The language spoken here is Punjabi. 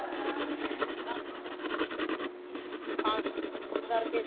ਤਾਂ ਕਰਕੇ